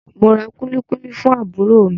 Mo ra kulikuli fún àbúrò mi.